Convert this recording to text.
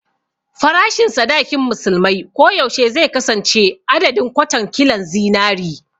Farashin sadakin musulmai ko yaushe zai kasance adadin "kwatan kilon zinari"